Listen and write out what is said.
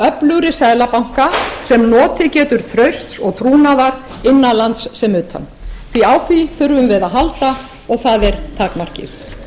öflugri seðlabanka sem notið getur trausts og trúnaðar innan lands sem utan en á því þurfum við að halda og það er takmarkið